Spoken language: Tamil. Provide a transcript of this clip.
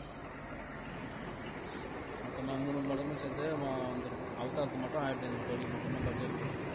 மொத்தமா மூணு மடங்கு சேர்த்து வ~ வந்திருக்கோம் அவதாருக்கு மட்டும் ஆயிரத்து ஐநூறு கோடி மொத்தமா budget ல இருக்கு